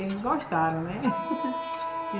Eles gostaram, né?